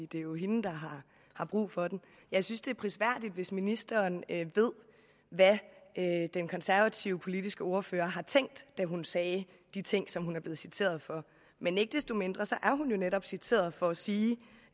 det er jo hende der har brug for den jeg synes det er prisværdigt hvis ministeren ved hvad den konservative politiske ordfører har tænkt da hun sagde de ting som hun er blevet citeret for men ikke desto mindre er hun jo netop citeret for at sige